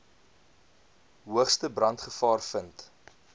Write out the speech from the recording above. hoogste brandgevaar vind